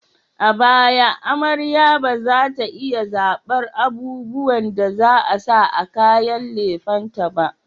A baya, amarya ba za ta iya zabar abubuwan da za a sa a kayan lefen ta ba.